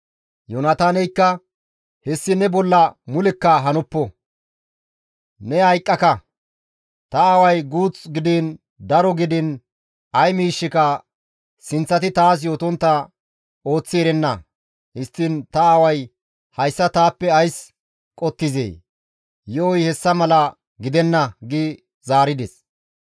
Yoonataaneykka, «Hessi ne bolla mulekka hanoppo! Ne hayqqaka! Ta aaway guuth gidiin daro gidiin ay miishshika sinththati taas yootontta ooththi erenna; histtiin ta aaway hayssa taappe ays qottizee? Yo7oy hessa mala gidenna!» gi zaarides.